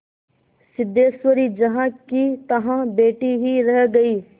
सिद्धेश्वरी जहाँकीतहाँ बैठी ही रह गई